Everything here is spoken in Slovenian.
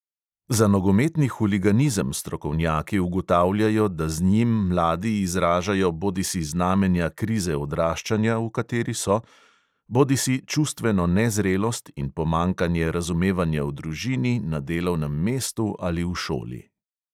Za nogometni huliganizem strokovnjaki ugotavljajo, da z njim mladi izražajo bodisi znamenja krize odraščanja, v kateri so, bodisi čustveno nezrelost in pomanjkanje razumevanja v družini, na delovnem mestu ali v šoli.